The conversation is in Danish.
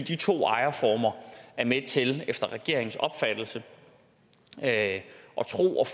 to ejerformer er med til efter regeringens opfattelse at